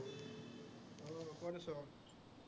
উম কত আছ?